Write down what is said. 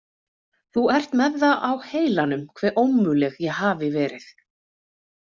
Þú ert með það á heilanum hve ómöguleg ég hafi verið.